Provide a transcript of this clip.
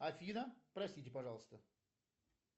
афина простите пожалуйста